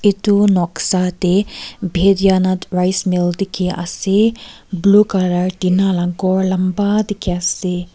edu noksa tae rice mill dikhiase blue colour tina la ghor lamba dikhi ase.